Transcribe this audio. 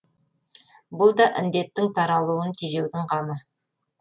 бұл да індеттің таралуын тежеудің қамы